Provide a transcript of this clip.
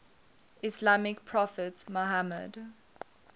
islamic prophet muhammad